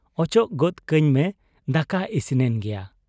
ᱚᱪᱚᱜ ᱜᱚᱫ ᱠᱟᱹᱧ ᱢᱮ ᱫᱟᱠᱟ ᱤᱥᱤᱱᱮᱱ ᱜᱮᱭᱟ ᱾'